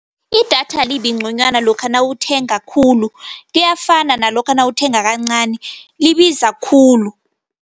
Idatha alibi ngconywana lokha nawuthenga khulu. Kuyafana nalokha nawuthenga kancani, libiza khulu.